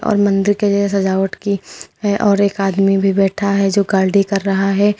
और मंदिर के लिए सजावट की है और एक आदमी भी बैठा है जो कि कर रहा है।